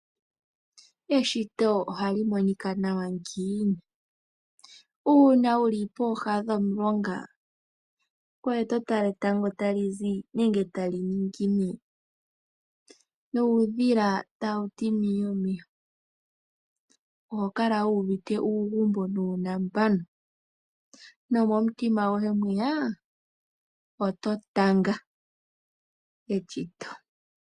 Eshito ohali monika nawa ngiini? Uuna wuli pooha dhomulonga, ngweye to tala etango tali zi nenge tali ningine , nuudhila tawu ti miye miye , oho kala wu uvite uugumbo nuunambano, nomomutima gwoye mwiya! Oto tanga eshito.